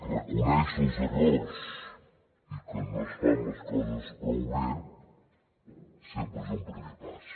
reconèixer els errors i que no es fan les coses prou bé sempre és un primer pas